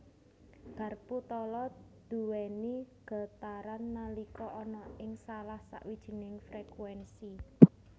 Garpu tala nduwéni getaran nalika ana ing salah sawijining frekuénsi